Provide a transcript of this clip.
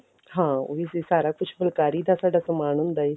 ਹਾਂ ਉਹ ਵੀ ਸੀ ਸਾਰਾ ਕੁੱਝ ਫੁੱਲਕਾਰੀ ਦਾ ਸਾਡਾ ਸਮਾਨ ਹੁੰਦਾ ਜੀ